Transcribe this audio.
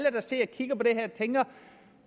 tænker